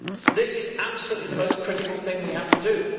This is absolutely the most critical thing we have to do.